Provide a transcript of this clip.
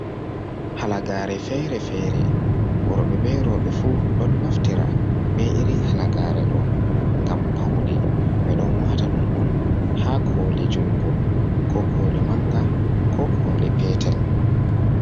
Halagare feere-feere worɓe be rowɓe fu ɗon naftira be irin halagare ɗo mgam pawne, ɓe ɗon wata ɗum on haa koli jungo ko koli manga ko koli petel.